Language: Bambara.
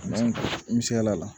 N'an misela la la